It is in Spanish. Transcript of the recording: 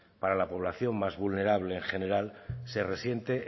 para la población más vulnerable en general se resiente